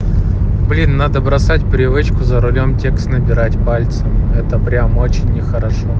блин надо бросать привычку за рулём текст набирать пальцем это прям очень нехорошо